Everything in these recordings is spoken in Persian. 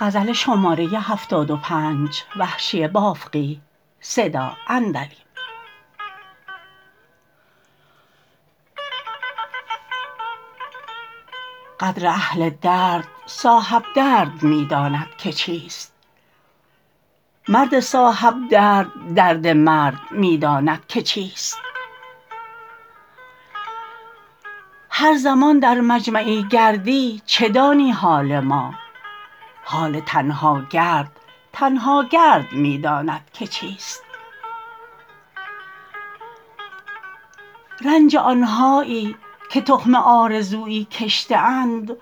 قدر اهل درد صاحب درد می داند که چیست مرد صاحب درد درد مرد می داند که چیست هر زمان در مجمعی گردی چه دانی حال ما حال تنها گرد تنها گرد می داند که چیست رنج آنهایی که تخم آرزویی کشته اند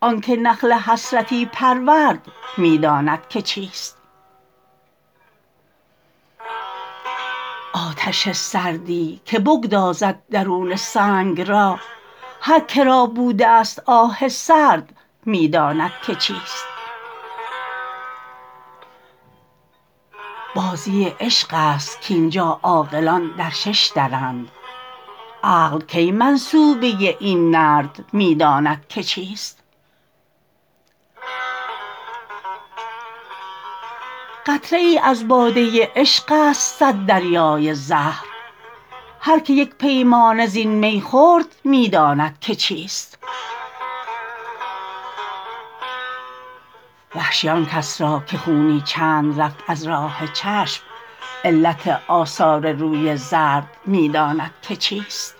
آنکه نخل حسرتی پرورد می داند که چیست آتش سردی که بگدازد درون سنگ را هرکرا بودست آه سرد می داندکه چیست بازی عشقست کاینجا عاقلان در شش درند عقل کی منصوبه این نرد می داند که چیست قطره ای از باده عشقست صد دریای زهر هر که یک پیمانه زین می خورد می داند که چیست وحشی آنکس را که خونی چند رفت از راه چشم علت آثار روی زرد می داند که چیست